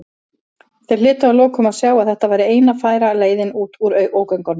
Þeir hlytu að lokum að sjá að þetta væri eina færa leiðin út úr ógöngunum.